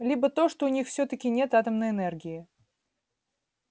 либо то что у них всё-таки нет атомной энергии